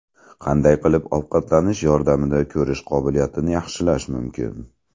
Qanday qilib ovqatlanish yordamida ko‘rish qobiliyatini yaxshilash mumkin?.